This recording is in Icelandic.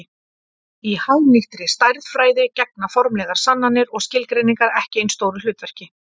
Í hagnýttri stærðfræði gegna formlegar sannanir og skilgreiningar ekki eins stóru hlutverki.